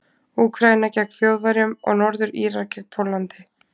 Úkraína gegn Þjóðverjum og Norður-Írar gegn Póllandi.